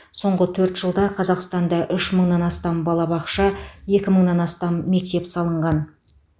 соңғы төрт жылда қазақстанда үш мыңнан астам балабақша екі мыңнан астам мектеп салынған